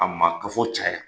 A maa kafo caya